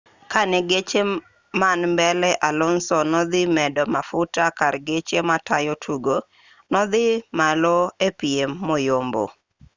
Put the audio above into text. kane geche man mbele alonso nodhi medo mafuta kar geche matayo tugo nodhi malo epiem moyombo